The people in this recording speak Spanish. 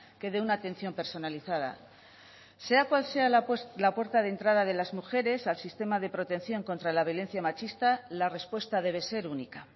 que dé una atención personalizada sea cual sea la puerta de entrada de las mujeres al sistema de protección contra la violencia machista la respuesta debe ser única